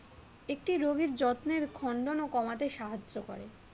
একটি রোগীর যত্নের খণ্ডনও কমাতে সাহায্য করে।